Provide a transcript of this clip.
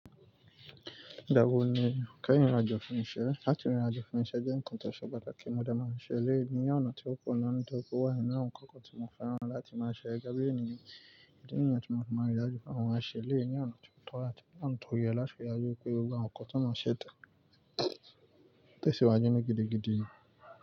Igba wo ni o keyín rinrinàjo fún iṣẹ́. Láti rinrinàjo fún iṣẹ́ jẹ́ nǹkan tó ṣe pàtàkì mọ̀dè máan ṣẹ́ eléyì n ọ̀nà tí ó kù náà, ní dọ́kó wá ní àwọn nǹkan kan tí mo fẹ́ràn láti máa ṣe gaàbí ènìyàn, bí i nìyàn tí mo máa ń rí ìrinajo fún àwọn àṣẹ léènì yàn ọ̀nà tí ó tọ́ láti yàn ọ̀nà tó yẹ láti rí àjọ̀kọ̀ èrò àwọn nǹkan tí mo ṣẹ́ tàn. Tẹ́sìwájú mi gidigidi.